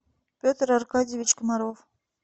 петр аркадьевич комаров